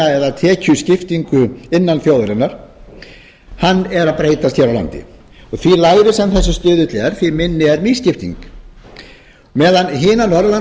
eða tekjuskiptingu innan þjóðarinnar er að breytast hér á landi og því lægri sem þessi stuðla er því minni er misskipting meðan hinar norðurlandaþjóðirnar